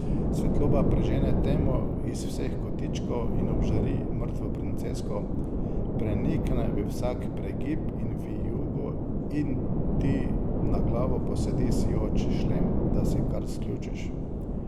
Svetloba prežene temo iz vseh kotičkov in obžari mrtvo princesko, prenikne v vsak pregib in vijugo in ti na glavo posadi sijoč šlem, da se kar sključiš.